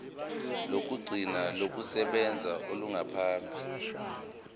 lokugcina lokusebenza olungaphambi